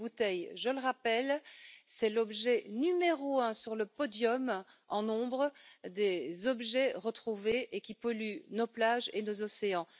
Les bouteilles, je le rappelle, c'est l'objet numéro un sur le podium en nombre des objets qui polluent nos plages et nos océans.